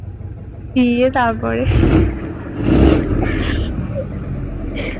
গিয়ে তারপরে